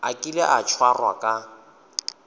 a kile a tshwarwa ka